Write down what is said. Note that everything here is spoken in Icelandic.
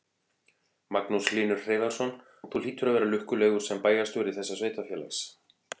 Magnús Hlynur Hreiðarsson: Og þú hlýtur að vera lukkulegur sem bæjarstjóri þessa sveitarfélags?